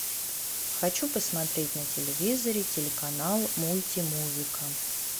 хочу посмотреть на телевизоре телеканал мульти музыка